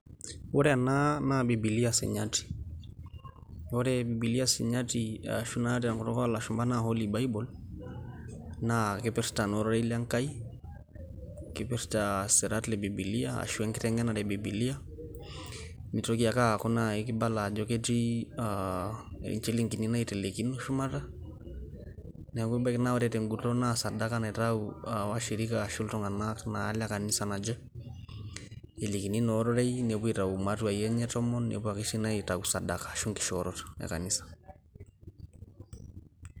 ore ena naa biilia sinyati, ore bibilia sinyati te nkutuk oolashumpa naa holy bible. naa kipirtaa isirat le bibilia arashu enkiteng'enare e bibilia, neitoki ake aaku naaji kibala ajo ketii, inchilingini naitelekino shumata. neeku ebaiki naa ore te ng'iton naa iropiyiani asu sadaka naitayu iltung'anak le kanisa naje. elikini naa ororei nepuo aitayu imatuai enye e tomon. nepuo ake sii naaji aitayu sadaka, ashu inkishoorot e kanisa.